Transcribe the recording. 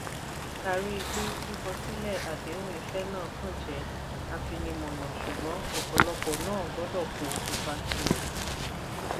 a rí i pé kíkọ silẹ adehun iṣẹ́ náà kàn jẹ́ afinimọ̀nà ṣùgbọ́n ọ̀pọ̀lọ́pọ̀ náà gbọdọ̀ kó ipa tirẹ̀